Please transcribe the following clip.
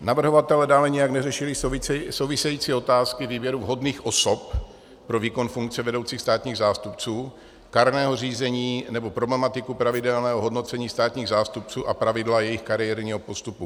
Navrhovatelé dále nijak neřešili související otázky výběru vhodných osob pro výkon funkce vedoucích státních zástupců, kárného řízení nebo problematiku pravidelného hodnocení státních zástupců a pravidla jejich kariérního postupu.